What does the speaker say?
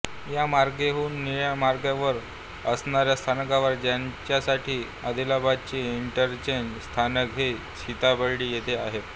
या मार्गिकेहून निळ्या मार्गिकेवर असणाऱ्या स्थानकावर जाण्यासाठी अदलाबदली इंटरचेंज स्थानक हे सिताबर्डी येथे आहे